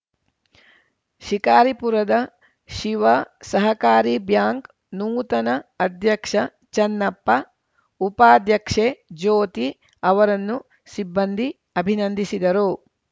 ಶಿಕಾರಿಪುರದ ಶಿವ ಸಹಕಾರಿ ಬ್ಯಾಂಕ್‌ ನೂತನ ಅಧ್ಯಕ್ಷ ಚನ್ನಪ್ಪ ಉಪಾಧ್ಯಕ್ಷೆ ಜ್ಯೋತಿ ಅವರನ್ನು ಸಿಬ್ಬಂದಿ ಅಭಿನಂದಿಸಿದರು